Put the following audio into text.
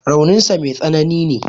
Raunin sa mai tsanani ne.